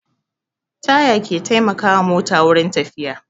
Taya ke taimaka wa mota wurin tafiya